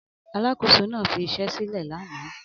Alákòóso náà fi iṣẹ́ sílẹ̀ lánàá